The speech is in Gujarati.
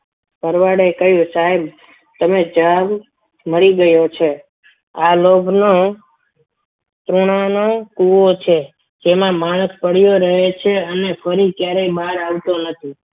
ભરવાડે કહ્યું સાહેબ તમે જાવ મળી ગયો છે આ લોભન તૃણા નો કુવો છે જેમાં માણસ પડ્યો રહે છે અને માણસ ફરી બહાર આવતો નથી.